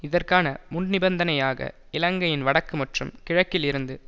இதற்கான முன்நிபந்தனையாக இலங்கையின் வடக்கு மற்றும் கிழக்கில் இருந்து